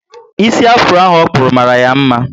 Isi afuro ahụ okpuru mara ya mma